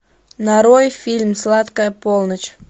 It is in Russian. нарой фильм сладкая полночь